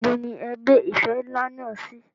Níbo ni e gbé ife ńlá náà sí?